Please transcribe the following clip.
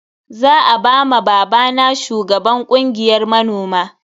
Za a ba ma babana shugaban kungiyar manoma.